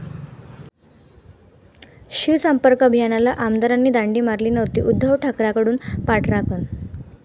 शिवसंपर्क अभियानाला आमदारांनी दांडी मारली नव्हती, उद्धव ठाकरेंकडून पाठराखण